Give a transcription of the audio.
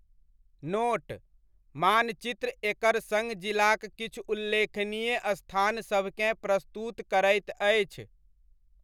Note मानचित्र एकर सङ्ग जिलाक किछु उल्लेखनीय स्थान सभकेँ प्रस्तुत करैत अछि।